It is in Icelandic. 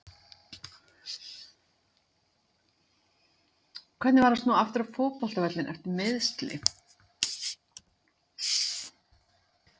Hvernig var að snúa aftur út á fótboltavöllinn eftir meiðsli?